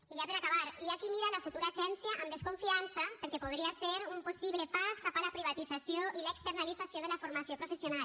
i ja per acabar hi ha qui mira la futura agència amb desconfiança perquè podria ser un possible pas cap a la privatització i l’externalització de la formació professional